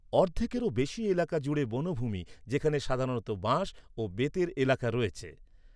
অর্ধেকেরও বেশি এলাকা জুড়ে বনভূমি, যেখানে সাধারণত বাঁশ ও বেতের এলাকা রয়েছে।